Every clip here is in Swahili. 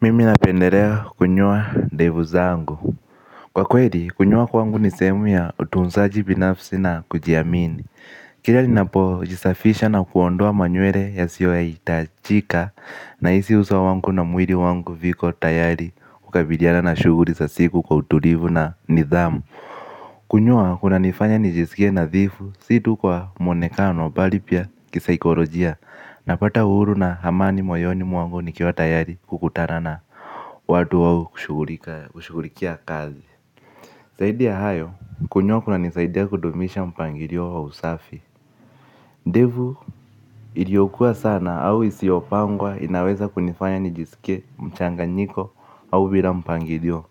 Mimi napendelea kunyoa ndevu zangu. Kwa kwelikunyoa kwangu ni sehemu ya utunzaji binafsi na kujiamini. Kila ninapo jisafisha na kuondoa manywele yasiyo ya hitajika. Na hisi uso wangu na mwili wangu viko tayari kukabiliana na shughuli za siku kwa utulivu na nidhamu. Kunyoa kuna nifanya nijisikie nadhifu. Si tu kwa mwonekano bali pia kisaikolojia. Napata uhuru na amani moyoni mwangu nikiwa tayari kukutana na watu wa kushughulikia kazi zaidi ya hayo kunyoa kuna nisaidi kudumisha mpangilio wa usafi. Devu iliokua sana au isiopangwa inaweza kunifanya nijisikie mchanganyiko au bila mpangilio.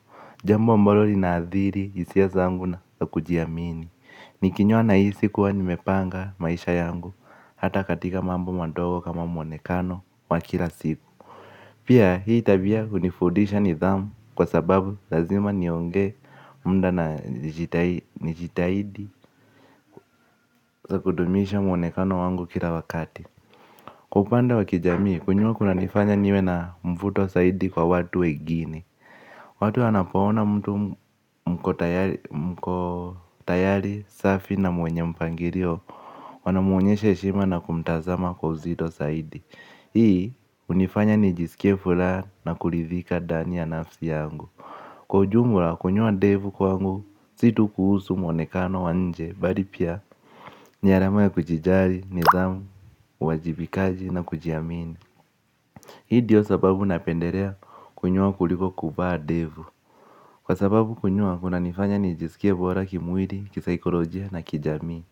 Jambo ambalo lina adhiri hiisia zangu na kujiamini. Nikinyoa nahisi kuwa nimepanga maisha yangu hata katika mambo madogo kama mwonekano wa kila siku. Pia hii tabia hunifundisha nidhamu kwa sababu lazima niongee muda na nijitahidi. Kudumisha mwonekano wangu kila wakati. Kwa upande wa kijamii kunyoa kuna nifanya niwe na mvuto zaidi kwa watu wengini. Watu wnapo ona mtu mko tayari safi na mwenye mpangilio. Wanamuonyeshe heshima na kumtazama kwa uzito zaidi. Hii hunifanya nijisikie furaha na kuridhika ndani ya nafsi yangu. Kwa ujumla kunyoa ndevu kwangu si tu kuhusu mwonekano wa nje bali pia ni alama ya kujijali, nidhamu, uwajibikaji na kujiamini hii ndio sababu napendelea kunyoa kuliko kuvaa ndevu kwa sababu kunyoa unanifanya nijisikie bora kimwili kisaikolojia na kijamii.